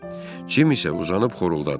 Cim isə uzanıb xorulldadı.